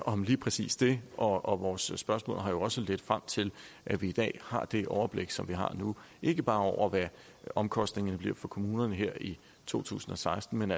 om lige præcis det og vores spørgsmål har jo også ledt frem til at vi i dag har det overblik som vi har nu ikke bare over hvad omkostningerne bliver for kommunerne her i to tusind og seksten men